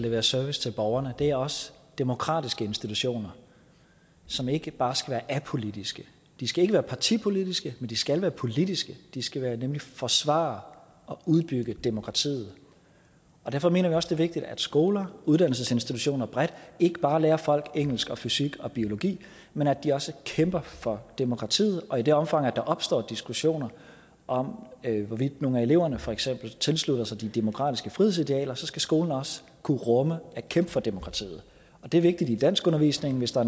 levere service til borgerne det er også demokratiske institutioner som ikke bare skal være apolitiske de skal ikke være partipolitiske men de skal være politiske de skal nemlig forsvare og udbygge demokratiet derfor mener vi også vigtigt at skoler og uddannelsesinstitutioner bredt ikke bare lærer folk engelsk og fysik og biologi men at de også kæmper for demokratiet og i det omfang der opstår diskussioner om hvorvidt nogle af eleverne for eksempel tilslutter sig de demokratiske frihedsidealer så skal skolen også kunne rumme at kæmpe for demokratiet det er vigtigt i danskundervisningen hvis der